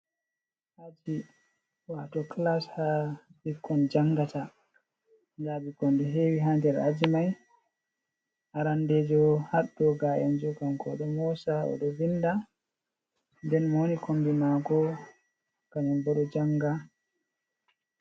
Aji wato kilas ha ɓikkon jangata, nda bikkon ɗo hewi ha nder aji mai, arandejo haɗɗo ga'enjo kanko o ɗon mosa o ɗo vinda, nden mo woni kombi mako kanyun bo ɗo janga.